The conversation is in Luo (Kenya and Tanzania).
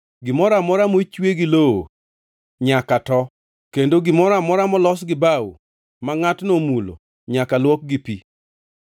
“ ‘Gimoro amora mochwe gi lowo nyaka to, kendo gimoro amora molos gi bao ma ngʼatno omulo nyaka luok gi pi.